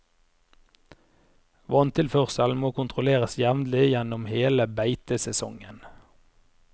Vanntilførselen må kontrolleres jevnlig gjennom hele beitesesongen.